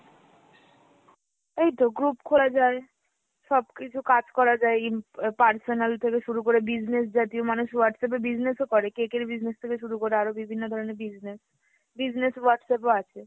এইতো group খোলা যায়, সব কিছু কাজ করা যায় ইম এ personal থেকে শুরু করে business জাতীয়, মানুষ Whatsapp এ business ও করে, cake এর business থেকে শুরু করে আরো বিভিন্ন ধরণের business, business Whatsapp ও আছে।